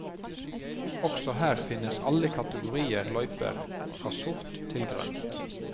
Også her finnes alle kategorier løyper fra sort til grønt.